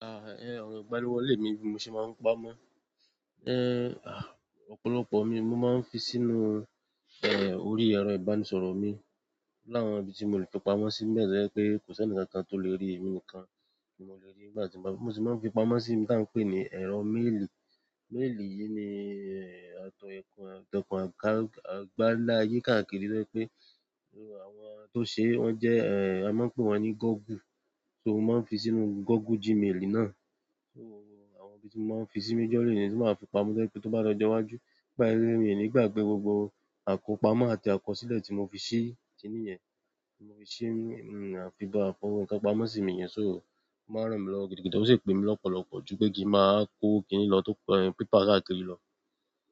Ọ̀rọ̀ ìgbaniwọlé mi bí mo ṣe máa ń pamọ́. Ọ̀pọ̀lọpọ̀ ni mo máa ń fi sínú orí ẹ̀rọ ìbánisọ̀rọ̀ mi. Oni àwọn ibí tí mo lè fi pamọ́ sí ńi bẹ̀ to je pẹ́ kó sẹ́ńi kan kan tó lè rí èmi nìkan ni mo lè rí nígbà tí mo bá, mo sì máa ń fi pamọ́ sí ìbi tá ń pè ní ẹ̀rọ méèlì. Méèlì yìí ni, àtọ̀kùn àgbáláyé káàkiri to jẹ pé àwọn tó ṣe é wọ́n jẹ́, a máa ń pè wọ́n ní Google. So mo máa ń fi sínú Google Gmail náà. Àwọn ibi tí mo máa ń fi sí majorly ni. Tí máa fi pamọ́ to jé pé tó bá di ọjo iwájú, to ba se pe mi ní gbàgbé gbogbo àkópamọ́ àti àkọsílẹ̀ tí mo fi sí kiní yẹn, tí mo fi sí, àpò afinkán pamọ́ sí ìmí yẹn. O máa ń rán mi lọwo gidigidi. Ó sì pè mí lọ́pọ̀lọpọ̀ ju pé kí n màá wa kó kíni lọ. Pépà káàkiri lọ.